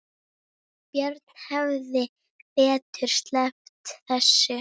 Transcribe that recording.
Björn hefði betur sleppt þessu.